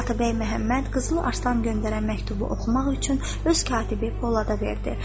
Atabəy Məhəmməd Qızıl Arslan göndərən məktubu oxumaq üçün öz katibi Polada verdi.